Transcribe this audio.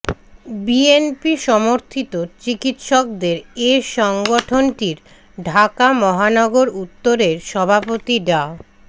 BNP সমর্থিত চিকিৎসকদের এ সংগঠনটির ঢাকা মহানগর উত্তরের সভাপতি ডা